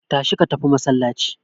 Tashi ka tafi masallaci!